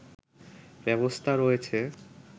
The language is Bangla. ব্যবস্থা রয়েছে